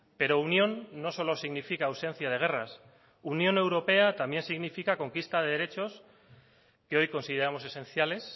pero unión no solo significa ausencia de guerras unión europea también significa conquista de derechos que hoy consideramos esenciales